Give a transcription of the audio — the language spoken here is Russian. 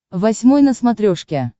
восьмой на смотрешке